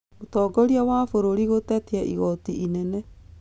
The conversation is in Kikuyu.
Mũtongoria wa bũrũri gũtetia igooti inene